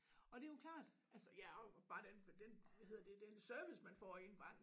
Og det jo klart altså ja og bare den den hvad hedder det den service man får i en bank